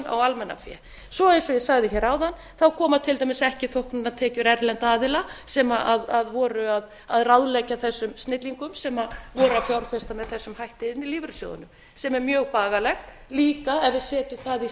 á almannafé svo eins og ég sagði hér áðan koma til dæmis ekki þóknunartekjur erlendra aðila sem voru að ráðleggja þessum snillingum sem voru að fjárfesta með þessum hætti inn í lífeyrissjóðina sem er mjög bagalegt líka efi við setjum það í